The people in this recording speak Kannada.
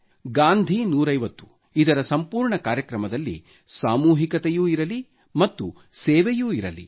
ಗಾಂಧಿ 150 ರ ಸಂಪೂರ್ಣ ಕಾರ್ಯಕ್ರಮದಲ್ಲಿ ಸಾಮೂಹಿಕತೆಯೂ ಇರಲಿ ಮತ್ತು ಸೇವೆಯೂ ಇರಲಿ